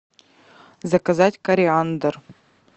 заказать кориандр